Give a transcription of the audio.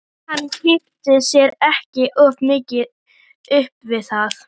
Hann kippti sér ekki of mikið upp við það.